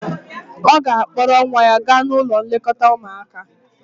ọ ga-akpọrọ nwa ya gaa n'ụlọ nlekọta ụmuaka